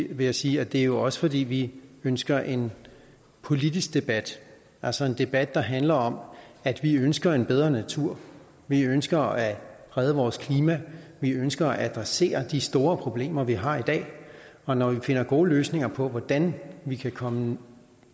vil jeg sige at det jo også er fordi vi ønsker en politisk debat altså en debat der handler om at vi ønsker en bedre natur vi ønsker at redde vores klima vi ønsker at adressere de store problemer vi har i dag og når vi finder gode løsninger på hvordan vi kan komme